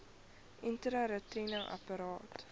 intrauteriene apparaat iua